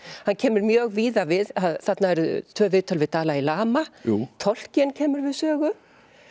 hann kemur mjög víða við þarna eru tvö viðtöl við Dalai Lama Tolkien kemur við sögu